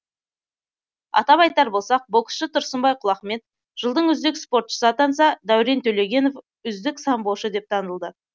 атап айтар болсақ боксшы тұрсынбай құлахмет жылдың үздік спортшысы атанса дәурен төлегенов үздік самбошы деп танылды